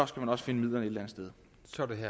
skal man også finde midlerne sted